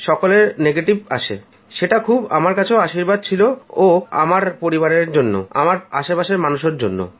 সকলেই নেগেটিভ আসে যেটা খুব বড় আশীর্বাদ ছিল আমার ও আমার পরিবারের জন্য আমার আশেপাশের মানুষদের জন্য